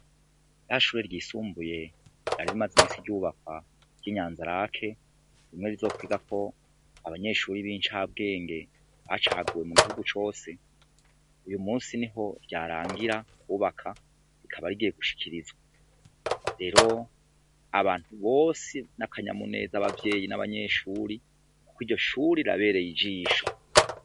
Rya shure ryisumbuye, ryari rimaze iminsi ryubakwa ry'i Nyanza-Lac, rimwe rizokwigako abanyeshure b'incabwenge bacaguwe mu gihugu cose, uyu munsi niho ryarangira kwubakwa, rikaba rigiye gushikirizwa. Rero abantu bose ni akanyamuneza ku bavyeyi n'abanyeshuri kuko iryo shure rirabereye ijisho.